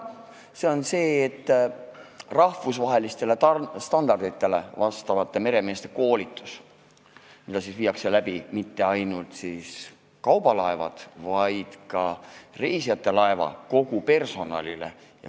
See käsitleb rahvusvahelistele standarditele vastavat meremeeste koolitust, mida viiakse läbi mitte ainult kaubalaevade, vaid ka reisilaevade personalile.